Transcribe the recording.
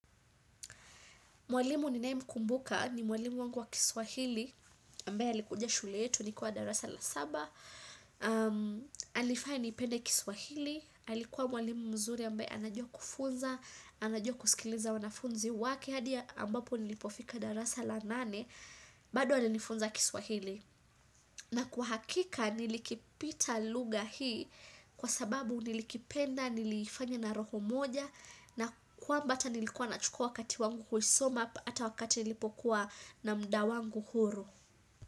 Mwalimu ninae mkumbuka ni mwalimu wangu wa kiswahili, ambaye alikuja shule yetu, nikiwa darasa la saba. Alifanya nipende kiswahili, alikuwa mwalimu mzuri ambaye anajua kufunza, anajua kusikiliza wanafunzi wake, hadi ambapo nilipofika darasa la nane, bado alinifunza kiswahili. Na kwa hakika nilikipita lugha hii kwa sababu nilikipenda, nilifanya na roho moja na kwamba ata nilikuwa na chukua wakati wangu kuisoma ata wakati nilipokuwa na muda wangu huru.